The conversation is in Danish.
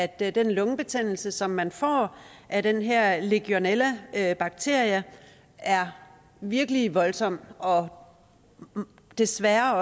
den lungebetændelse som man får af den her legionellabakterie er virkelig voldsom og desværre